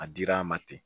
A dira a ma ten